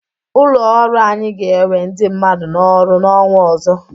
Ụlọ orụ anyị ga-ewe ndị mmadụ n´ọrụ n'ọnwa ọzọ.